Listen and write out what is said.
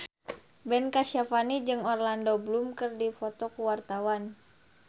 Ben Kasyafani jeung Orlando Bloom keur dipoto ku wartawan